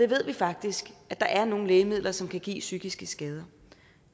ved faktisk at der er nogle lægemidler som kan give psykiske skader